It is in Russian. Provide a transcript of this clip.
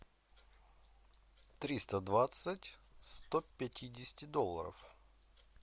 триста двадцать сто пятидесяти долларов